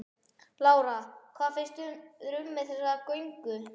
Lára: Hvað finnst þér um þessa göngu?